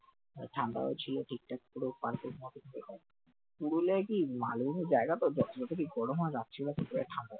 ঠান্ডাও ছিল ঠিক ঠক পুরো perfect মতো পুরুলিয়ায় কি মালভূমি জায়গা তো যত কি গরম হাওয়া লাগছে